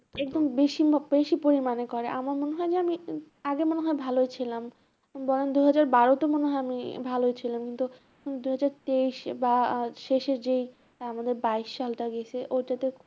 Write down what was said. একদম বেশি ম~ বেশি পরিমানে করে আমার মনে হয় যে আমি আগে মনে হয় ভালো ছিলাম বরং দুই হাজার বারোতে মনে হয় আমি ভালো ছিলাম, কিন্তু দুই হাজার তেইশে বা আর শেষে যেই আহ আমাদের বাইশ সালটা গিয়েছে ঐটাতে